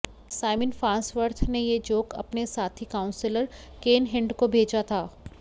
Simon Farnsworth ने यह joke अपने साथी काउंसिलर केन हिंड को भेजा था